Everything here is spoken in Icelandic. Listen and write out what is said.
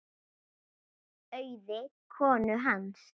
Auði konu hans.